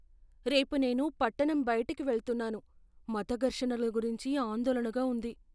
రేపు నేను పట్టణం బయటికి వెళ్తున్నాను, మత ఘర్షణల గురించి ఆందోళనగా ఉంది.